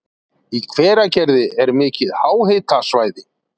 Í Hveragerði er mikið háhitasvæði.